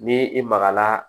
Ni i magara